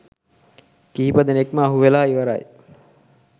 කිහිප දෙනෙක්ම අහුවෙලා ඉවරයි